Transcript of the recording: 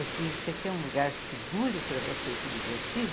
Eu fiz, você quer um lugar seguro para você se divertir?